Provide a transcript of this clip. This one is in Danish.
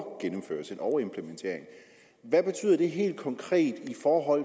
overgennemførelse en overimplementering hvad betyder det helt konkret i forhold